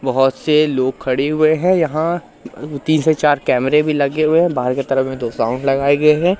बहोत से लोग खड़े हुए हैं यहां तीन से चार कैमरे भी लगे हुए हैं बाहर की तरफ में दो साउंड लगाए गए हैं।